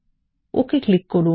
ওকে click করুন